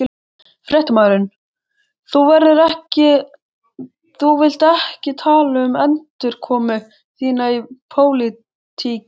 Fréttamaður: Þú vilt ekki tala um endurkomu þína í pólitík?